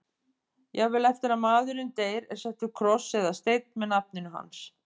Jafnvel eftir að maðurinn deyr er settur kross eða steinn með nafninu hans.